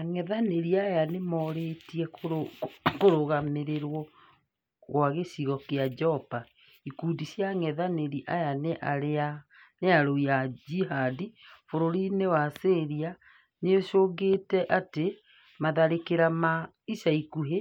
Angethanĩri aya nĩmorĩtie kũrũgamĩrĩrwo kwa gĩcigo kĩa Jobar. Ikundi cia ang'ethanĩri aya na arũi a Jihad bũrũri-inĩ wa Syria niciugĩte atĩ matharĩkĩra ma ica ikuhĩ